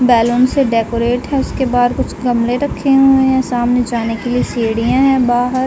Balloon से decorate हैउसके बाहर कुछ गमले रखे हुए हैं। सामने जाने के लिए सीढ़ियां हैं बाहर --